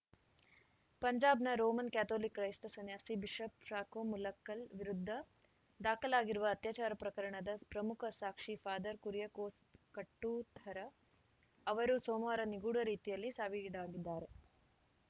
ಪಂಜಾಬ್‌ನ Roman Catholic ಕ್ರೈಸ್ತ ಸನ್ಯಾಸಿ ಬಿಷಪ್‌ ಫ್ರಾಕೋ ಮುಲಕ್ಕಲ್‌ ವಿರುದ್ಧ ದಾಖಲಾಗಿರುವ ಅತ್ಯಾಚಾರ ಪ್ರಕರಣದ ಪ್ರಮುಖ ಸಾಕ್ಷಿ ಫಾದರ್‌ ಕುರಿಯಕೋಸ್‌ ಕಟ್ಟುಥರ ಅವರು ಸೋಮವಾರ ನಿಗೂಢ ರೀತಿಯಲ್ಲಿ ಸಾವಿಗೀಡಾಗಿದ್ದಾರೆ